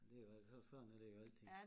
Det er jo alt så sådan at det er jo altid